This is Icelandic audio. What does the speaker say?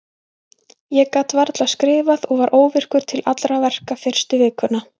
Ég gat varla skrifað og var óvirkur til allra verka fyrstu vikuna.